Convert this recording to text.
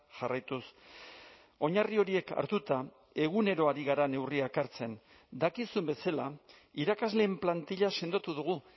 jarraituz oinarri horiek hartuta egunero ari gara neurriak hartzen dakizun bezala irakasleen plantilla sendotu dugu